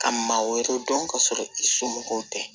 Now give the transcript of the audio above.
Ka maa wɛrɛ dɔn ka sɔrɔ i somɔgɔw tɛ